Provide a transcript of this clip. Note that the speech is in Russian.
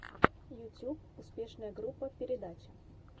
ютуб успешная группа передача